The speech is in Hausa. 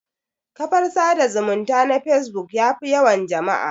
Kafar sada zumunta na facebook yafi yawan jama'a